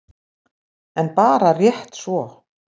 En bara rétt svo.